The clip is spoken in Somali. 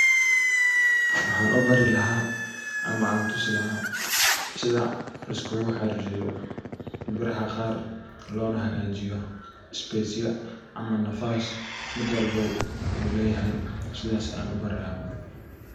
Waxan u bari lahaa ama an tusi laha sidha laiskugu xaririyo biraha qaar lona hagajiyo spacaya ama nafas mid walbo u leyahay sidhas ayan yu barii laha.